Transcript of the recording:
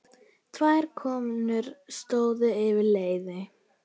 Tvær konur stóðu yfir leiði.